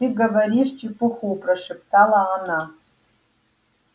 ты говоришь чепуху прошептала она